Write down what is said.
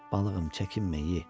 Balığım çəkinmə ye.